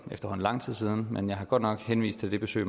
efterhånden lang tid siden men jeg har godt nok henvist til det besøg